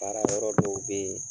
Baarayɔrɔ dɔw bɛ yen